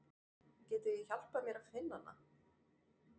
Getið þið hjálpað mér að finna hana?